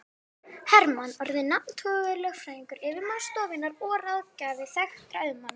Hermann orðinn nafntogaður lögfræðingur, yfirmaður stofunnar og ráðgjafi þekktra auðmanna.